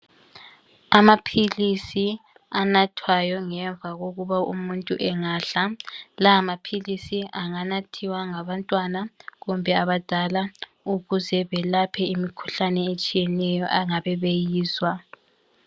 Amaphilisi anathwayo ngemva kokuba umuntu engadla. Lawa maphilisi anganathiwa ngabantwana kumbe abadala ukuze belaphe imikhuhlane etshiyeneyo angabe beyizwa